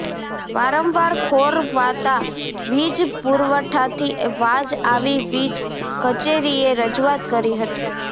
વારંવાર ખોરવાતા વીજ પુરવઠાથી વાજ આવી વીજ કચેરીએ રજુઆત કરી હતી